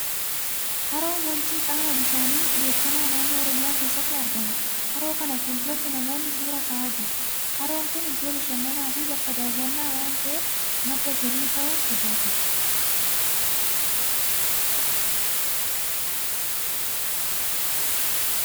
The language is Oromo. Haroon Wancii qaama bishaanii beekamaa naannoo Oromiyaa keessatti argamudha. Haroo kana fuula duratti namoonni suuraa ka'aa jiru. Haroon kun iddoo bashannanaa fi bakka daawwannaa waan ta'eef, madda galii ta'uun tajaajila.